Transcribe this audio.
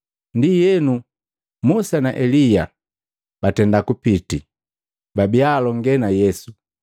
Ndienu Musa na Elia batenda kupiti, babia alonge na Yesu.